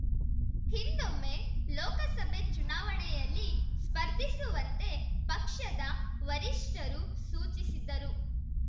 ಹಿಂದೊಮ್ಮೆ ಲೋಕಸಭೆ ಚುನಾವಣೆಯಲ್ಲಿ ಸ್ಪರ್ಧಿಸುವಂತೆ ಪಕ್ಷದ ವರಿಷ್ಠರು ಸೂಚಿಸಿದ್ದರು